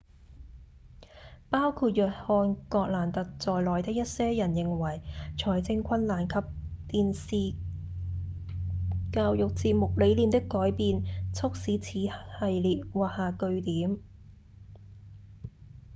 包括約翰葛蘭特在內的一些人認為財政困難及電視教育節目理念的改變促使此系列畫下句點